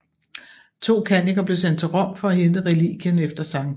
To kanniker blev sendt til Rom for at hente relikvien efter Skt